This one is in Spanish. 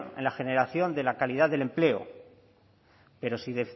en la generación de la calidad del empleo pero si